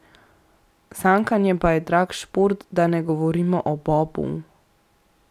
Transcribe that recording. Sankanje pa je drag šport, da ne govorimo o bobu.